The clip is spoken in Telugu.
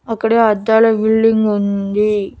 అక్కడే అద్దాల బిల్డింగ్ ఉంది.